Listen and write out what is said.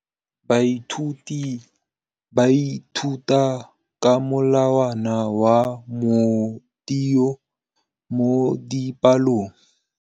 Baithuti ba ithuta ka molawana wa motheo mo dipalong.